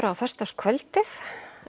á föstudagskvöldið